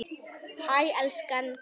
Hæ elskan!